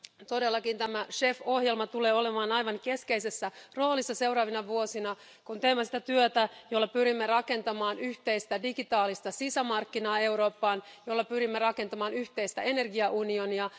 Todellakin tämä CEF ohjelma tulee olemaan aivan keskeisessä roolissa seuraavina vuosina, kun teemme sitä työtä, jolla pyrimme rakentamaan yhteistä digitaalista sisämarkkinaa Eurooppaan ja jolla pyrimme rakentamaan yhteistä energiaunionia.